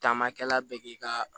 Taamakɛla bɛ k'i ka